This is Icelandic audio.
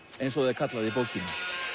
eins og það er kallað í bókinni